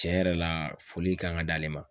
Tiɲɛ yɛrɛ la foli kan ka d'ale ma.